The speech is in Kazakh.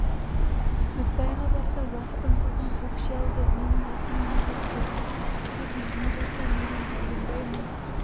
дүтбайға барса уақтың қызын көкше алды менің ақым не депті деп үйіне барса менің пәленбай мың